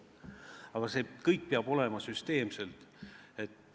Aga see kõik peab toimuma süsteemselt.